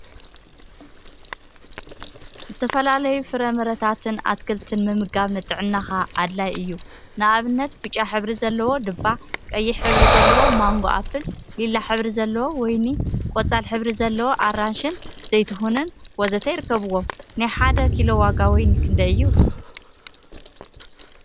ዝተፈላለዩ ፍራምረታትን አትክልትን ምምጋብ ንጥዕናካ አድላይ እዩ፡፡ ንአብነት ብጫ ሕብሪ ዘለዎ ዱባ፣ ቀይሕ ሕብሪ ዘለዎ ማንጎ አፕል፣ ሊላ ሕብሪ ዘለዎ ወይኒ ፣ ቆፃል ሕብሪ ዘለዎ አራንሺን ዘይትሁንን ወዘተ ይርከቡዎም፡፡ ናይ ሓደ ኪሎ ዋጋ ወይኒ ክንደይ እዩ?